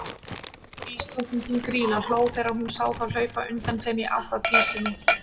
Ísdrottningin, Grýla, hló þegar hún sá þá hlaupa undan þeim í átt að Dísinni.